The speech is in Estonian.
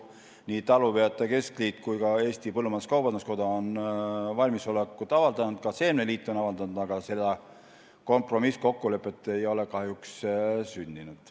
Nii talupidajate keskliit kui ka põllumajandus-kaubanduskoda on valmisolekut avaldanud, ka seemneliit on seda avaldanud, aga kompromisskokkulepet ei ole kahjuks sündinud.